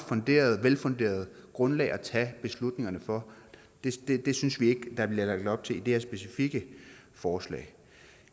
velfunderet grundlag at tage beslutningerne på det synes vi ikke der bliver lagt op til i det her specifikke forslag